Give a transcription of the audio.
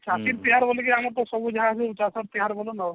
ଆମର ତ ସବୁ ଯାହା ହୁଏ ତିହାର ବନୋଉ